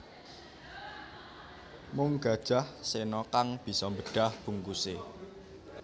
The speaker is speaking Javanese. Mung Gajah Sena kang bisa mbedah bungkuse